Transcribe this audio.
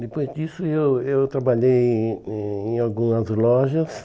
Depois disso, eu eu trabalhei em em algumas lojas.